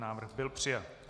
Návrh byl přijat.